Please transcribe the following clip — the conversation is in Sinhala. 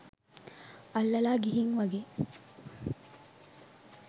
අල්ලලා ගිහින් වගේ.